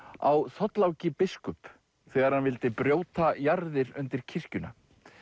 á Þorláki biskup þegar hann vildi brjóta jarðir undir kirkjuna